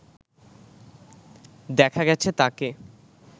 দেখা গেছে তাঁকে